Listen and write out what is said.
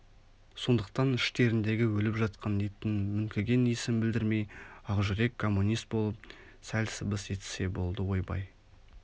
сондықтан іштеріндегі өліп жатқан иттің мүңкіген иісін білдірмей ақжүрек коммунист болып сәл сыбыс естісе болды ойбай